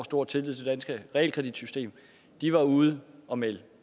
stor tillid til danske realkreditsystem var ude at melde